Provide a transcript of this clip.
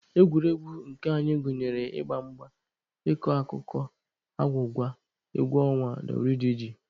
Egwuregwu nke anyị gụnyere ịgba mgba, ịkọ akụkọ, agwụgwa, egwu ọnwa wdg.